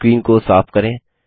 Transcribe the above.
screen को साफ करें